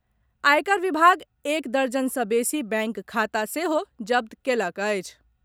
आयकर विभाग एक दर्जन सॅ बेसी बैंक खाता सेहो जब्त कएलक अछि।